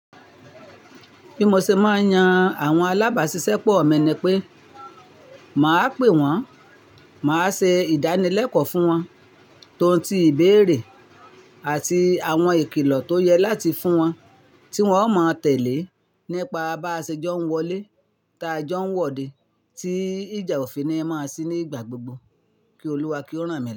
Bí mo ṣe máa yan àwọn alábàásisẹ́pọ̀ mi ni pé màá pe wọn, màá ṣe ìdánilẹ́kọ̀ọ́ fún wọn tóun ti ìbéèrè àti àwọn ìkìlọ̀ tó yẹ láti fún wọn tí wọn ó máa tẹ̀lé nípa bá a ṣe jọ ń wọlé, ta jọ ń wọde, tí ìjà òfin ni máa sí nígbà gbogbo kí Olúwa kí ó rán mi.